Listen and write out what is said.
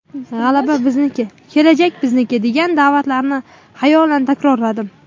G‘alaba bizniki, kelajak bizniki!” degan da’vatlarini xayolan takrorlardim.